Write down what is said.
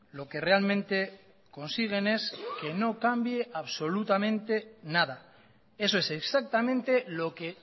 lo que realmente consiguen es que no cambie absolutamente nada eso es exactamente lo que